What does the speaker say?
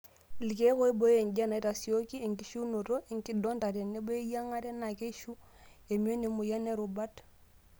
Elkeek oibooyo enjian, naitasiooki enkishiunoto enkinonda tenebo eyiangare naa keishu emion emoyian oorubat.